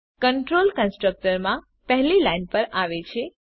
control constructor માં પહેલી line પર આવે છે